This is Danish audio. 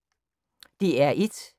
DR1